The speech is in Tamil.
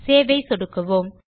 சேவ் ஐ சொடுக்கவோம்